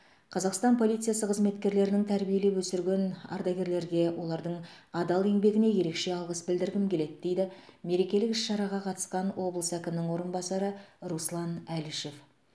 қазақстан полициясы қызметкерлерінің тәрбиелеп өсірген ардагерлерге олардың адал еңбегіне ерекше алғыс білдіргім келеді дейді мерекелік іс шараға қатысқан облыс әкімінің орынбасары руслан әлішев